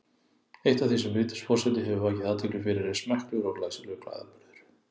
Eitt af því sem Vigdís forseti hefur vakið athygli fyrir er smekklegur og glæsilegur klæðaburður.